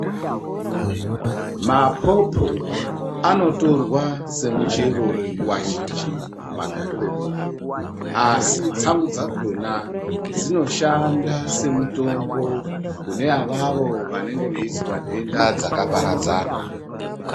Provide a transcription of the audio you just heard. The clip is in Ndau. Mapopo anotorwa semuchero nguwa zhinji mumagariro edu asi tsangu dzakona dzinoshanda semutombo kune avavo vanenge veizwa nhenda dzakaparadzana.